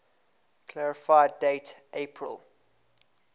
clarify date april